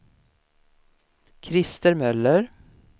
Krister Möller